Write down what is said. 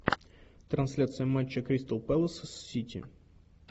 трансляция матча кристал пэлас с сити